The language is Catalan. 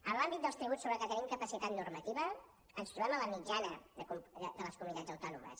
en l’àmbit dels tributs sobre els que tenim capacitat normativa ens trobem en la mitjana de les comunitats autònomes